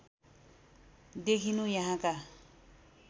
देखिनु यहाँका